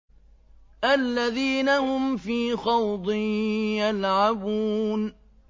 الَّذِينَ هُمْ فِي خَوْضٍ يَلْعَبُونَ